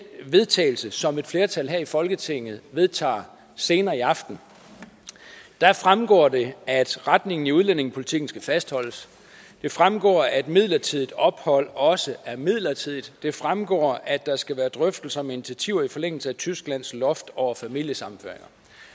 vedtagelse som et flertal her i folketinget vedtager senere i aften fremgår det at retningen i udlændingepolitikken skal fastholdes det fremgår at midlertidigt ophold også er midlertidigt det fremgår at der skal være drøftelser med initiativer i forlængelse af tysklands loft over familiesammenføringer